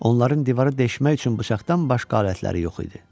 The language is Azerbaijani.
Onların divarı deşmək üçün bıçaqdan başqa alətləri yox idi.